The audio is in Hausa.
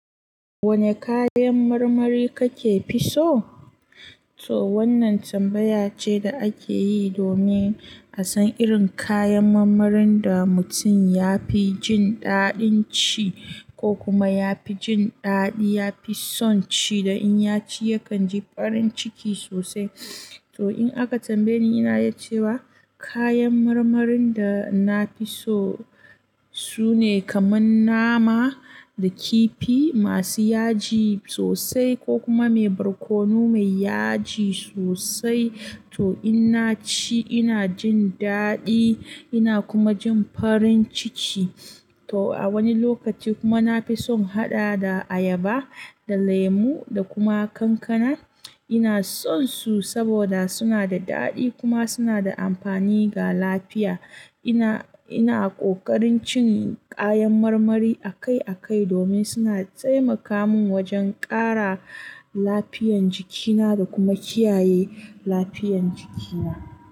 Wane kayan marmari kake fi so? To wannan tambaya ce da ake yi domin a san irin kayan marmarin da mutum ya fi jin daɗin ci ko kuma ya fi jin daɗi, ya fi son ci da in ya ci yakan ji farin ciki sosai. To in aka tambaye ni, ina yi cewa kayan marmarin da na fi so su ne kamar nama da kifi masu yaji sosai ko kuma mai barkono mai yaji sosai. To in na ci ina jin daɗi ina kuma jin farin ciki. To a wani lokaci kuma na fi son haɗa da ayaba da lemu da kuma kankana. Ina son su saboda suna da daɗi kuma suna da amfani ga lafiya. Ina, ina ƙoƙarin cin kayan marmari akai akai domin suna taimaka min wajen ƙara lafiyan jikina da kuma kiyaye lafiyan jikina.